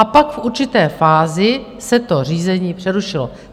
A pak v určité fázi se to řízení přerušilo.